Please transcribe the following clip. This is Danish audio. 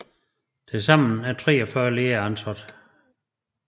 Til sammen 43 lærere er ansat